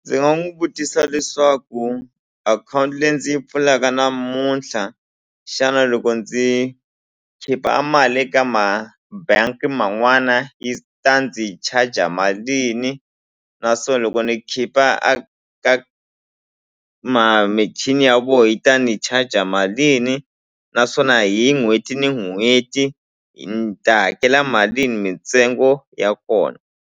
Ndzi nga n'wu vutisa leswaku akhawunti leyi ndzi yi pfulaka namuntlha xana loko ndzi khipha a mali ka ma bangi man'wana yi ta ndzi charger malini na swo loko ni khipha a ka michini ya vona yi ta ni charger malini naswona hi n'hweti ni n'hweti ni ta hakela malini mintsengo ya kona.